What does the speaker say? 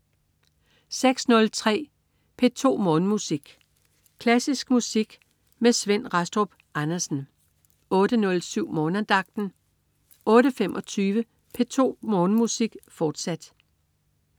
06.03 P2 Morgenmusik. Klassisk musik med Svend Rastrup Andersen 08.07 Morgenandagten 08.25 P2 Morgenmusik, fortsat